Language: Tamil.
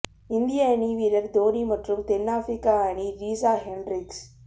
இந்திய அணி வீரர் தோனி மற்றும் தென் ஆப்பிரிக்க அணி ரீசா ஹெண்ட்ரிக்ஸ்